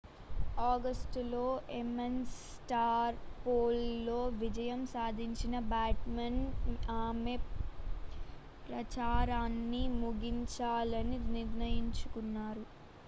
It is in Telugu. ఆగస్టులో ఎమేస్ స్ట్రా పోల్ లో విజయం సాధించిన బాచ్ మన్ ఆమె ప్రచారాన్ని ముగించాలని నిర్ణయించుకున్నారు